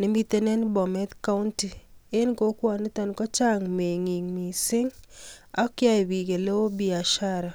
nemiten en Bomet coundy. En kokwoniton kochang mengiik missing ak yoe bik eleo biashara.